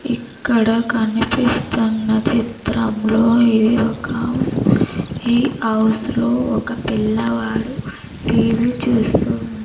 ఇక్కడ కనిపిస్తున్న చిత్రంలో ఇది ఒక అవ్స్ ఈ హౌస్ లో ఒక పిల్లవాడు టీ వీ చూస్తూ ఉన్--